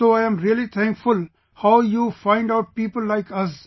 So I'm really thankful how you find out people like us